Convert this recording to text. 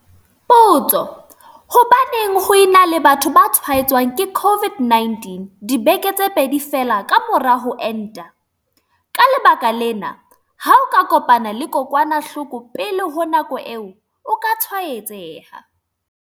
Potso- Hobaneng ho e na le batho ba tshwaetswang ke COVID-19 dibeke tse pedi feela ka mora ho enta? Ka lebaka lena, ha o ka kopana le kokwanahloko pele ho nako eo, o ka tshwaetseha.